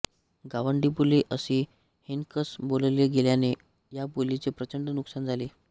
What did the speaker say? गावंडीबोली असे हिणकस बोलले गेल्याने या बोलीचे प्रचंड नुकसान झाले